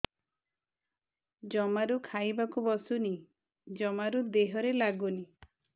ଜମାରୁ ଖାଇବାକୁ ବସୁନି ଜମାରୁ ଦେହରେ ଲାଗୁନି